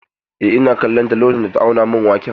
Eh, ina kallon ta lokacin da ta auna min waken.